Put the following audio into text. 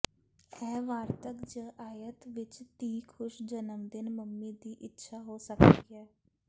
ਇਹ ਵਾਰਤਕ ਜ ਆਇਤ ਵਿਚ ਧੀ ਖੁਸ਼ ਜਨਮ ਦਿਨ ਮੰਮੀ ਦੀ ਇੱਛਾ ਹੋ ਸਕਦੀ ਹੈ